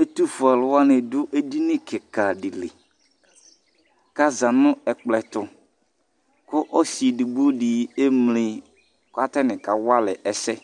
Ɛtufue aluwani adu edini kika dili Kaza nu ɛkplɔ tu Ɔsi edigbodi emli katani aka walɛ ɛsɛ